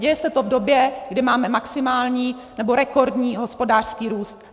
Děje se to v době, kdy máme maximální, nebo rekordní hospodářský růst.